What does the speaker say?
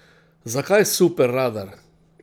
Zakaj superradar?